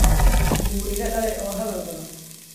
Wuu iga daalay oo hadal badan